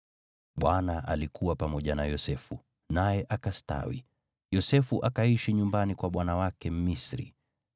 Bwana alikuwa pamoja na Yosefu, naye akastawi, Yosefu akaishi nyumbani kwa bwana wake Mmisri.